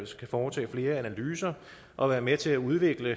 skal foretage flere analyser og være med til at udvikle